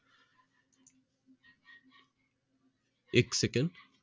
एक सेकंद